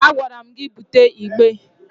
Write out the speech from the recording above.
A gwara m gị bute igbe!